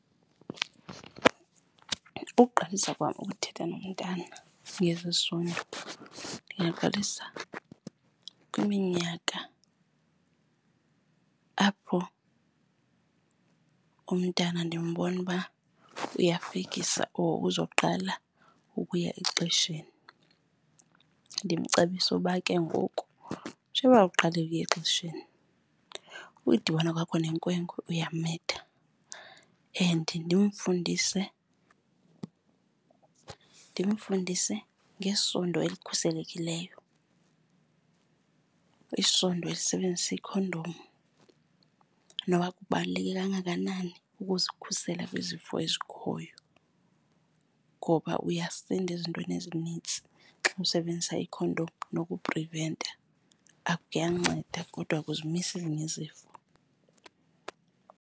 Ukuqalisa kwam ukuthetha nomntana ngezesondo ndingaqalisa kwiminyaka apho umntana ndimbona uba uyokufikisa or uzoqala ukuya exesheni. Ndimcebise uba ke ngoku njengoba uqale ukuya exesheni ukudibana kwakho nenkwenkwe uyamitha. And ndimfundise ngesondo elikhuselekileyo, isondo esebenzisa ikhondom, noba kubaluleke kangakanani ukuzikhusela kwizifo ezikhoyo. Ngoba uyasinda ezintweni ezinintsi xa usebenzisa ikhondom, nokupriventa kuyanceda kodwa akuzimisi ezinye izifo.